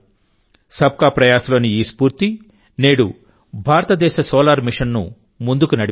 sub కా ప్రయాస్ లోని ఈ స్ఫూర్తి నేడు భారతదేశ సోలార్ మిషన్ను ముందుకు నడిపిస్తోంది